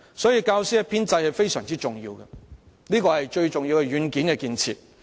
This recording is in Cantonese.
因此，教師編制非常重要，是最重要的軟件建設。